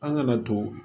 An kana to